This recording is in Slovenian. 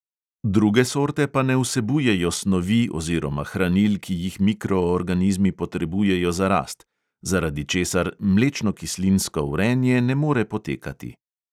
Druge sorte pa ne vsebujejo snovi oziroma hranil, ki jih mikroorganizmi potrebujejo za rast, zaradi česar mlečnokislinsko vrenje ne more potekati.